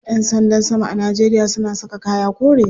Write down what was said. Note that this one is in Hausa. Yan sanda sama a Najeria suna saka kaya kore.